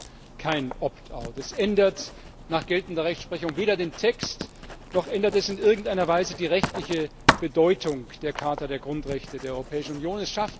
Es ist kein es ändert nach geltender Rechtsprechung weder den Text, noch ändert es in irgendeiner Weise die rechtliche Bedeutung der Charta der Grundrechte der Europäischen Union.